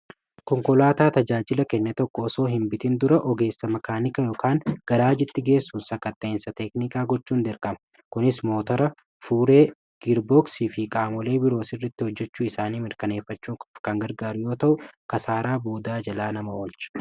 konkolaataa tajaajila kenne tokko osoo hinbitiin dura ogeessa makaanika yookaan garaa jitti geessuu sakkateensa teeknikaa gochuu n derkama kunis mootora fuuree girbooksii fi qaamolee biroo sirritti hojjechuu isaanii mirkaneeffachuu kangargaaryoo ta'u kasaaraa boodaa jalaa nama olcha